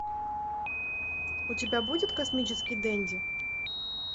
у тебя будет космический денди